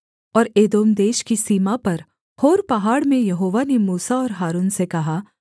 और एदोम देश की सीमा पर होर पहाड़ में यहोवा ने मूसा और हारून से कहा